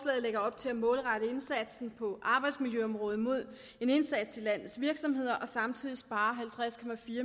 lægger op til at målrette indsatsen på arbejdsmiljøområdet mod en indsats i landets virksomheder og samtidig spare halvtreds